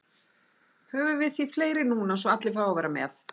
Höfum við því fleiri núna svo allir fái að vera með.